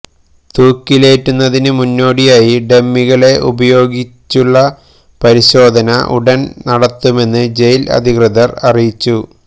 തൂക്കിലേറ്റുന്നതിന് മുന്നോടിയായി ഡമ്മികളെ ഉപയോഗിക്കുച്ചുള്ള പരിശോധന ഉടൻ നടത്തുമെന്ന് ജയിൽ അധികൃതർ അറിയിച്ചു